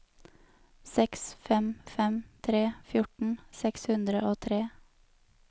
seks fem fem tre fjorten seks hundre og tre